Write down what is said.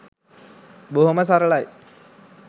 බොහොම සරලයි